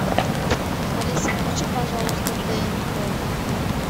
алиса включи пожалуйста тнт